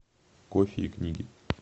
кофе и книги